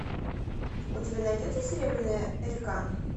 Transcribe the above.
у тебя найдется серебряная река